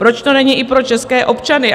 Proč to není i pro české občany?